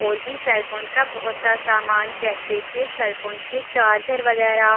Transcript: और भी cell phone का बहोत सारा सामान जैसे की सेल फ़ोन के चार्जर वगैरह--